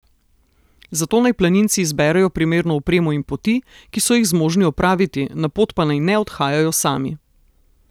Zato naj planinci izberejo primerno opremo in poti, ki so jih zmožni opraviti, na pot pa naj ne odhajajo sami.